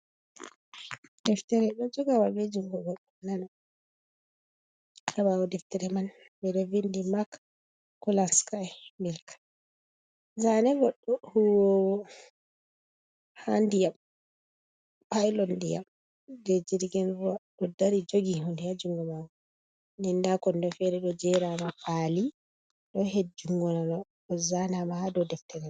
Deftere ɗo joga wal be jungo nano. Ha ɓawo deftere man ɓeɗo vindi mak kulanskai milk. Zane goddo hu wowo ha ndiyam, pilot ndiyam je jirgin ruwa ɗo dari jogi hunde ha jungo mako. Den nda kondo fere ɗo jerama pali ɗo hedi jungu nano ɗo zanama ha dau deftere mai.